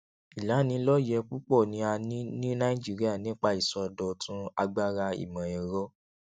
ìlanilọyẹ púpọ ni a ní ní nàìjíríà nípa ìsọdọtun agbára ìmọẹrọ